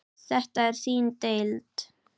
Þetta er þín deild.